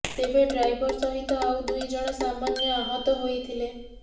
ତେବେ ଡ୍ରାଇଭର ସହିତ ଆଉ ଦୁଇ ଜଣ ସାମାନ୍ୟ ଆହତ ହୋଇଥିଲେ